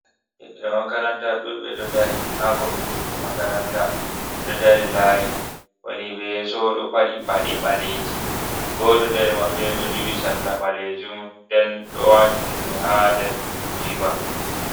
"Ɓiɓɓe makaranta"ɗuɓɓe ɗo dari ha kombi chuɗi makaranta ɓeɗo dari layi woni ɓe yeeso ɗo paɗi paɗe ɓaleji goto nder maɓɓe ɗo duhi sarla ɓalejum nden ɗo wati juɗe ha nder jiba.